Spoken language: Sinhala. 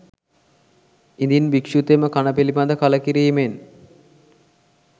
ඉදින් භික්‍ෂුතෙම කණ පිළිබඳ කලකිරීමෙන්